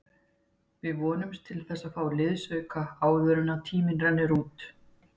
Við vonumst til að fá liðsauka áður en tíminn rennur út.